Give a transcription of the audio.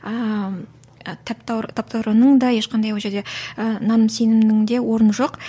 ааа таптауырынның да ешқандай ол жерде ыыы наным сенімінің де орны жоқ